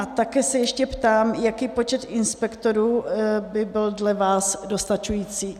A také se ještě ptám, jaký počet inspektorů by byl dle vás dostačující.